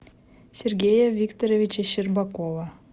сергея викторовича щербакова